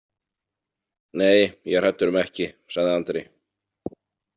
Nei, ég er hræddur um ekki, sagði Andri.